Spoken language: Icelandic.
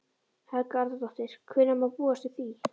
Helga Arnardóttir: Hvenær má búast við því?